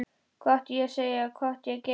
Hvað átti ég að segja, hvað átti ég að gera?